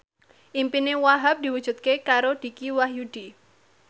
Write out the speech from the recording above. impine Wahhab diwujudke karo Dicky Wahyudi